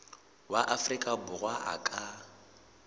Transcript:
wa afrika borwa a ka